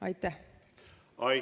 Aitäh!